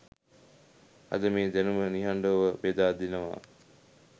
අද මේ දැනුම නිහඬව බෙදා දෙනවා.